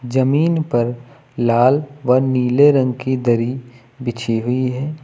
जमीन पर लाल व नीले रंग की दरी बिछी हुई है।